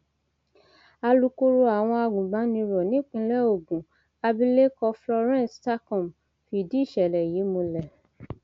alūkkóró àwọn agùnbàníró nípìnlẹ ogun abilékọ florence takum fìdí ìṣẹlẹ yìí múlẹ